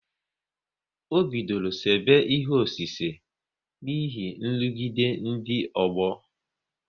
Ọ bidoro sebe ihe ọsise n'ihi nrụgide ndị ọgbọ